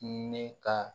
Ne ka